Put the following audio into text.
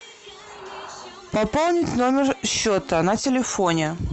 пополнить номер счета на телефоне